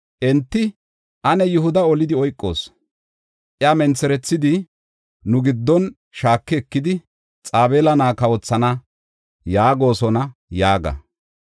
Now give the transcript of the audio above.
Enti “Ane Yihuda olidi oykoos; iya mentherethidi nu giddon shaaki ekidi, Xabeela na7aa kawothana yaagosona” yaaga.